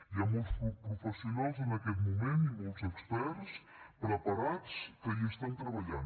hi ha molts professionals en aquest moment i molts experts preparats que hi estan treballant